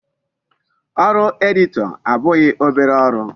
Ọrụ editor abụghị obere ọrụ.